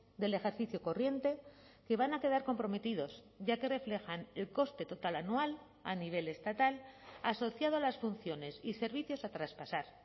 del ejercicio corriente que van a quedar comprometidos ya que reflejan el coste total anual a nivel estatal asociado a las funciones y servicios a traspasar